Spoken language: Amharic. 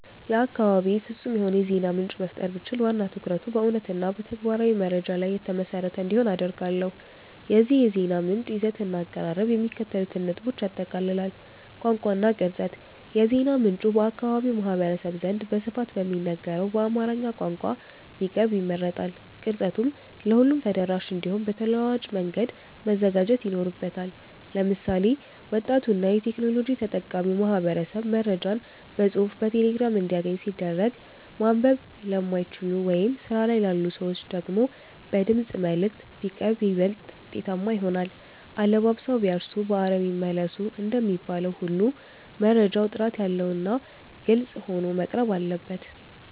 ለአካባቤ ፍጹም የሆነ የዜና ምንጭ መፍጠር ብችል፣ ዋና ትኩረቱ በእውነትና በተግባራዊ መረጃ ላይ የተመሰረተ እንዲሆን አደርጋለሁ። የዚህ የዜና ምንጭ ይዘትና አቀራረብ የሚከተሉትን ነጥቦች ያጠቃልላል፦ ቋንቋ እና ቅርጸት፦ የዜና ምንጩ በአካባቢው ማህበረሰብ ዘንድ በስፋት በሚነገረው በአማርኛ ቋንቋ ቢቀርብ ይመረጣል። ቅርጸቱም ለሁሉም ተደራሽ እንዲሆን በተለዋዋጭ መንገድ መዘጋጀት ይኖርበታል። ለምሳሌ፣ ወጣቱና የቴክኖሎጂ ተጠቃሚው ማህበረሰብ መረጃዎችን በጽሑፍ በቴሌግራም እንዲያገኝ ሲደረግ፣ ማንበብ ለማይችሉ ወይም ስራ ላይ ላሉ ሰዎች ደግሞ በድምፅ መልዕክት (Voice Messages) ቢቀርብ ይበልጥ ውጤታማ ይሆናል። "አለባብሰው ቢያርሱ በአረም ይመለሱ" እንደሚባለው ሁሉ፣ መረጃው ጥራት ያለውና ግልጽ ሆኖ መቅረብ አለበት።